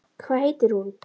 Hvað heitir hún?